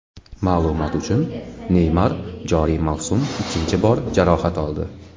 Ma’lumot uchun, Neymar joriy mavsum ikkinchi bor jarohat oldi.